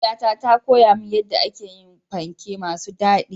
Mahaifiyata ta koya min yadda ake yin panke masu daɗi.